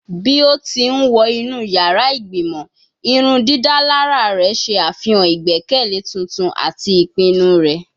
Bi o ti n wọ inu yara igbimọ, irundidalara rẹ ṣe afihan igbẹkẹle tuntun ati ipinnu rẹ